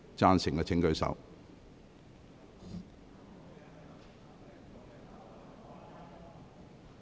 贊成的請舉手。